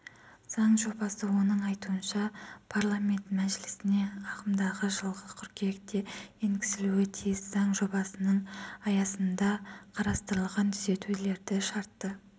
заң жобасы оның айтуынша парламент мәжілісіне ағымдағы жылғы қыркүйекте енгізілуі тиіс заң жобасының аясындақарастырылған түзетулерді шартты